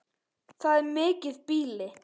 Það er mikið býli.